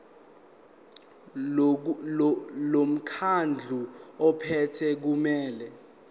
lomkhandlu ophethe kumele